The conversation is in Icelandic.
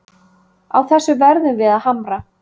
Á þessu verðum við að hamra